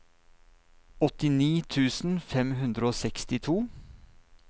åttini tusen fem hundre og sekstito